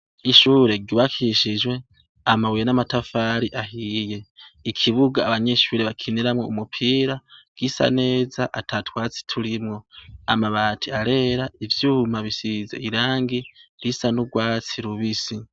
Ishure ryubakishijwe amabuye n'amatafari ahiye, ikibuga abanyeshure bakiniramwo umupira gisa neza ata twatsi turimwo. Amabati arera, ivyuma bisize irangi risa n'urwatsi rubisi.